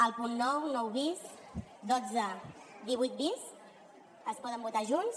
els punts nou nou bis dotze divuit bis es poden votar junts